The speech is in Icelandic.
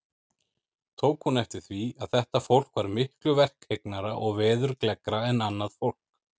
Tók hún eftir því, að þetta fólk var miklu verkhyggnara og veðurgleggra en annað fólk.